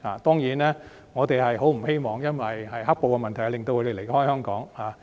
當然，我們不希望"黑暴"的問題令他們離開香港。